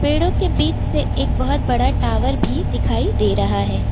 पेड़ों के बीच से एक बहुत बड़ा टावर भी दिखाई दे रहा है।